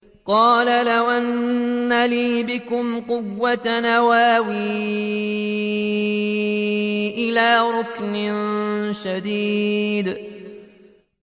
قَالَ لَوْ أَنَّ لِي بِكُمْ قُوَّةً أَوْ آوِي إِلَىٰ رُكْنٍ شَدِيدٍ